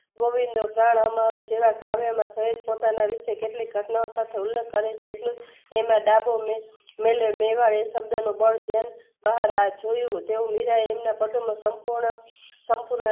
ગોવિંદ જાણ અમારા જેવા કાર્યમાં સહીત પોતાના વિષે કેટલીક ઘટનાઓ સાથે હિલ કરેછે એટલે એમાં ડાબો મેં મેલ્યો મેવા એશબ્દો નો બળ જેમ બહાર આવે જોયું તેઓ મીરાએ એમના કટરનો સંપૂર્ણ સંપૂર્ણ